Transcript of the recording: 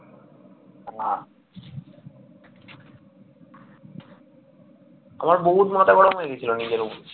আমার বহুত মাথা গরম হয়ে গিয়েছিল নিজের উপর